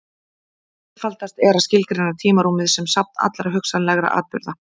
Einfaldast er að skilgreina tímarúmið sem safn allra hugsanlegra atburða.